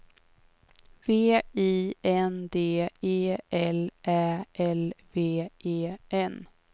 V I N D E L Ä L V E N